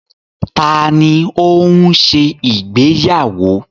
Taàní ó ń ṣe ìgbéyàwó?